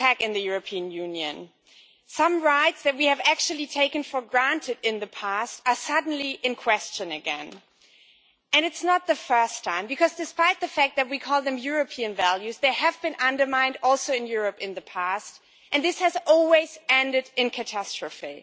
Madam President, fundamental rights are under attack in the European Union. Some rights that we have actually taken for granted in the past are suddenly in question again and it is not the first time, because despite the fact that we call them European values, they have been undermined also in Europe in the past and this has always ended in catastrophe.